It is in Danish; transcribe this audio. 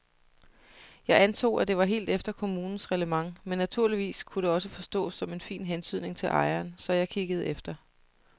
Jeg antog, at det var helt efter kommunens reglement men naturligvis kunne det også forstås som en fin hentydning til ejeren, så jeg kiggede efter.